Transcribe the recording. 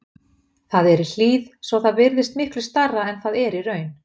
Það er í hlíð svo að það virðist miklu stærra en það er í raun.